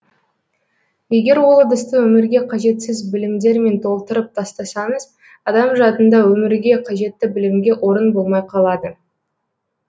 егер ол ыдысты өмірге қажетсіз білімдермен толтырып тастасаңыз адам жадында өмірге қажетті білімге орын болмай қалады